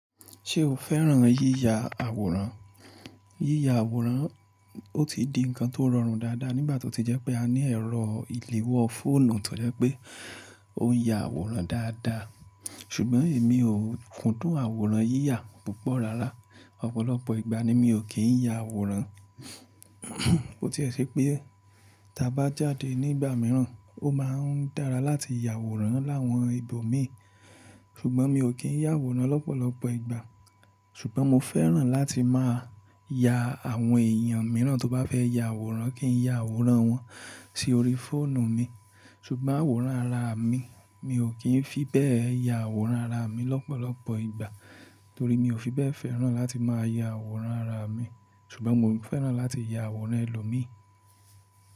Ṣé o fẹ́ràn yíya àwòrán? Yíya àwòrán, ó ti di ǹkan tó rọrùn dáadáa nígbà tó ti jẹ́ pé a ní ẹ̀rọ ìléwọ́ fóònù tó jẹ́ pé ó ya àwòrán dáadáa. Ṣùgbọ́n èmi ò kún dùn àwòrán yíyà púpọ̀ rárá. Ọ̀pọ̀lọpọ̀ ìgbà ni mi ò kín ń ya àwòrán. Ó ti sí pé, tí a bá jáde nígbà mìíràn, ó máa ń dára láti ya àwòrán láwọn ibòmíràn. Ṣùgbọ́n mi ò kín ń ya àwòrán lọ́pọ̀lọpọ̀ ìgbà. Ṣùgbọ́n mo fẹ́ràn láti máa ya àwọn èèyàn mìíràn tó bá fẹ́ ya àwòrán kí n ya àwòrán wọn sí orí fóònù mi. Ṣùgbọ́n àwòrán ara mi, mi ò kín fi bẹ́ẹ̀ ya àwòrán ara mi lọ́pọ̀lọpọ̀ ìgbà torí mi ò fi bẹ́ẹ̀ fẹ́ràn láti máa ya àwòrán ara mi. Ṣùgbọ́n mo fẹ́ràn láti ya àwòrán ẹlòmíì.